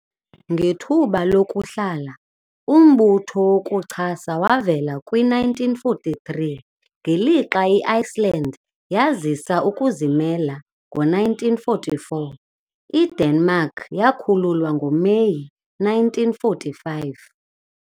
Ngethuba lokuhlala, umbutho wokuchasa wavela kwi-1943 ngelixa i-Iceland yazisa ukuzimela ngo-1944, IDenmark yakhululwa ngoMeyi 1945.